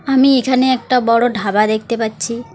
আমি এখানে একটা বড়ো ঢাবা দেখতে পাচ্ছি।